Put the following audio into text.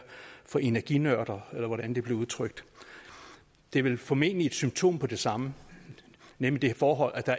for energinørder eller hvordan det blev udtrykt det er vel formentlig et symptom på det samme nemlig det forhold at der